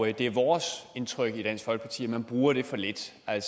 det det er vores indtryk i dansk folkeparti at man bruger det for lidt at